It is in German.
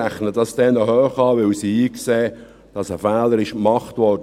Dies rechne ich ihnen hoch an, weil sie einsehen, dass ein Fehler gemacht wurde.